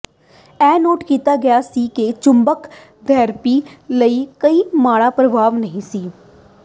ਇਹ ਨੋਟ ਕੀਤਾ ਗਿਆ ਸੀ ਕਿ ਚੁੰਬਕ ਥੈਰੇਪੀ ਲਈ ਕੋਈ ਮਾੜਾ ਪ੍ਰਭਾਵ ਨਹੀਂ ਸੀ